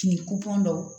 Fini dɔw